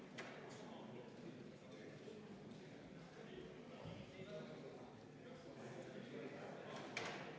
Austatud Riigikogu, panen hääletusele kaheksanda muudatusettepaneku, mille on esitanud põhiseaduskomisjon ja juhtivkomisjon on arvestanud seda täielikult.